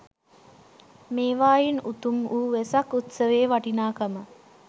මේවායින් උතුම් වූ වෙසක් උත්සවයේ වටිනාකම